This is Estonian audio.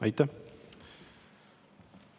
Aitäh!